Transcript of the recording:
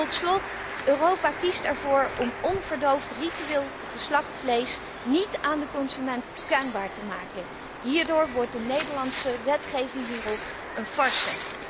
Tot slot, Europa kiest ervoor om onverdoofd ritueel geslacht vlees niet aan de consument kenbaar te maken. Hierdoor wordt de Nederlandse wetgeving hierop een farce.